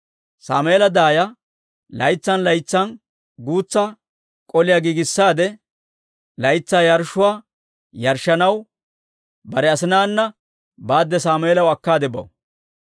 Sammeela daaya laytsan laytsan guutsa k'oliyaa giigissaade, laytsaa yarshshuwaa yarshshanaw bare asinaana baadde Sammeelaw akkaade baw.